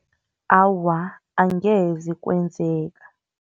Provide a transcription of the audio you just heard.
Awa, angeze kwenzeka.